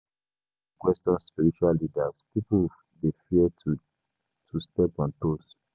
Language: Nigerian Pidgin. E dey hard to question spiritual leaders; pipo dey fear to to step on toes.